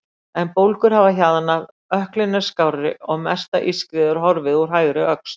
En bólgur hafa hjaðnað, ökklinn er skárri og mesta ískrið horfið úr hægri öxl.